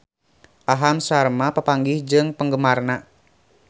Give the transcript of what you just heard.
Aham Sharma papanggih jeung penggemarna